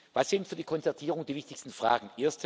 Was sind für die Konzertierung die wichtigsten Fragen?